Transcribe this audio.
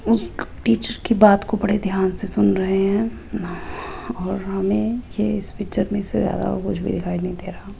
उस टीचर की बात को बड़े ध्यान से सुन रहे हैं और हमें ये इस पिक्चर में से ज्यादा और कुछ भी दिखाई नही दे रहा।